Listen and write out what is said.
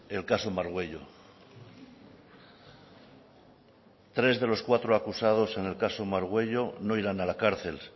el caso margüello tres de los cuatro acusados en el caso margüello no irán a la cárcel